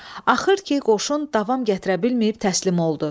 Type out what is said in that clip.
Axır ki, qoşun davam gətirə bilməyib təslim oldu.